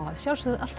alltaf